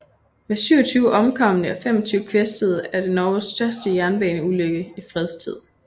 Med 27 omkomne og 25 kvæstede er det Norges største jernbaneulykke i fredstid